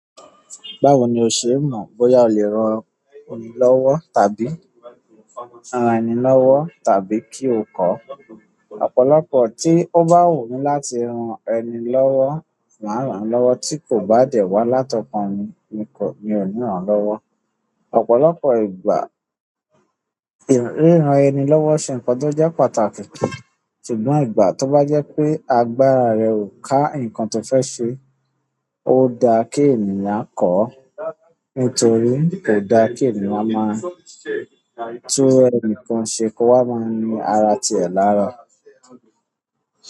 Báwo ni o ṣe n mọ̀ bóyá o le ran ẹni lọ́wọ́ tàbí ran ẹni lọ́wọ́ tàbí kí o kọ́? Ọ̀pọ̀lọpọ̀ tí ó bá wù mí láti ran ẹni lọ́wọ́, màá ràn án lọ́wọ́ tí kò bá dẹ̀ wá látọkàn mi, mi kò, mi ò ní ràn án lọ́wọ́. Ọ̀pọ̀lọpọ̀ ìgbà ríran ẹni lọ́wọ́ ṣe ńkan ti o je pàtàkì. Ṣùgbọ́n ìgbà tó bá jẹ́ pé agbára rẹ ò ká nǹkan toó fẹ́ ṣe, ó daa kí ènìyàn kọ́. Nítorí kò daa kí ènìyàn máa tú ẹni kan ṣe kó wá máa ní ara tí ẹ lára.